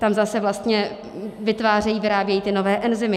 Tam zase vlastně vytvářejí, vyrábějí ty nové enzymy.